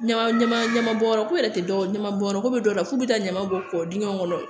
Ɲama ɲama ɲama bɔnyɔrɔ ko yɛrɛ tɛ dɔwɛrɛ ɲama bɔnyɔrɔ ko be dɔw la k'u be taa ɲama bɔ kɔ dingɛ kɔnɔ